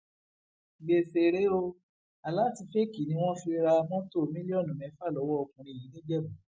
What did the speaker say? gbèsè rèé o aláàtì fẹẹkí ni wọn fi ra mọtò mílíọnù mẹfà lọwọ ọkùnrin yìí nìjẹbù